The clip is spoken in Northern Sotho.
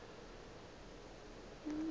ga a gona yo a